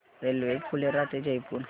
railway Phulera ते जयपूर